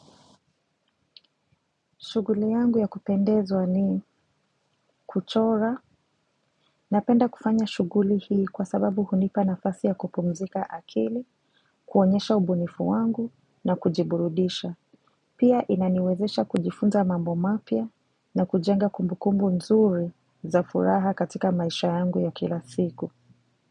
Shughuli yangu ya kupendezwa ni kuchora napenda kufanya shughuli hii kwa sababu hunipa nafasi ya kupumzika akili, kuonyesha ubunifu wangu na kujiburudisha. Pia inaniwezesha kujifunza mambo mapia na kujenga kumbukumbu nzuri za furaha katika maisha yangu ya kila siku.